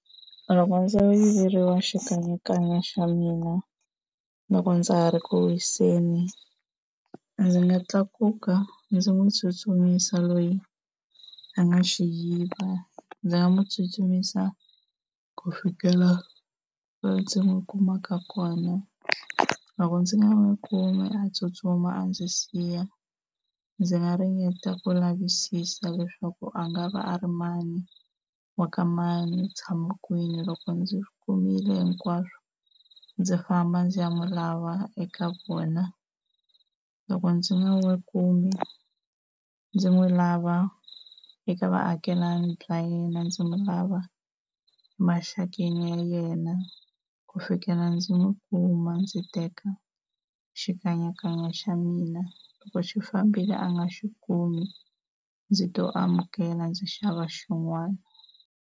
Loko ndzo yiveriwa xikanyakanya xa mina loko ndza ha ri ku wiseni ndzi nga tlakuka ndzi n'wi tsutsumisa loyi a nga xi yiva. Ndzi nga n'wi tsutsumisa ku fikela laha ndzi n'wi kumaka kona loko ndzi nga n'wi kumi a tsutsuma a ndzi siya ndzi nga ringeta ku lavisisa leswaku a nga va a ri mani, wa ka mani, u tshama kwini. Loko ndzi kumile hinkwaswo ndzi famba ndzi ya mu lava eka vona, loko ndzi nga n'wi kumi ndzi n'wi lava eka vaakelani va yena, ndzi n'wi lava emaxakeni ya yena ku fikela ndzi n'wi kuma ndzi teka xikanyakanya xa mina loko xi fambile a nga xi kumi ndzi to amukela ndzi xava xin'wana.